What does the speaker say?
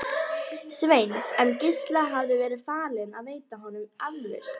Sveins, en Gísla hafði verið falið að veita honum aflausn.